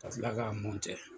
Ka kila k'a